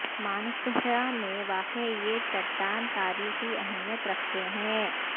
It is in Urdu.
مانسہرہ میں واقع یہ چٹان تاریخی اہمیت رکھتے ہیں